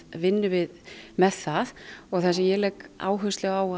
vinnum við með það og það sem ég legg áherslu á